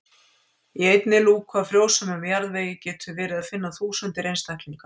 Í einni lúku af frjósömum jarðvegi getur verið að finna þúsundir einstaklinga.